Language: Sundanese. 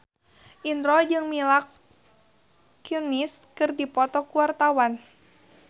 Indro jeung Mila Kunis keur dipoto ku wartawan